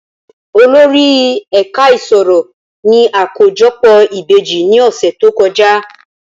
Olórí ẹ̀ka ìṣirò ní àkójọpọ̀ ìbejì ní ọ̀sẹ̀ tó kọjá.